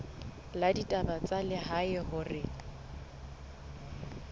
la ditaba tsa lehae hore